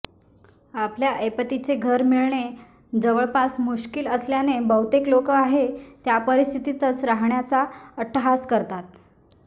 आपल्या ऐपतीचे घर मिळणे जवळपास मुश्कील असल्याने बहुतेक लोक आहे त्या परिस्थितीतच राहण्याचा अट्टहास करतात